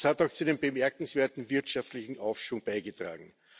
Das hat auch zu dem bemerkenswerten wirtschaftlichen Aufschwung beigetragen.